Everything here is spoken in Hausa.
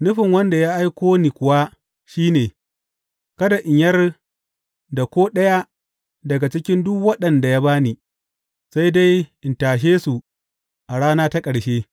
Nufin wanda ya aiko ni kuwa shi ne, kada in yar da ko ɗaya daga cikin duk waɗanda ya ba ni, sai dai in tashe su a rana ta ƙarshe.